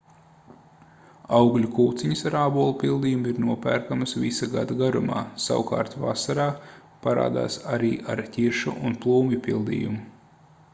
augļu kūciņas ar ābolu pildījumu ir nopērkamas visa gada garumā savukārt vasarā parādās arī ar ķiršu un plūmju pildījumu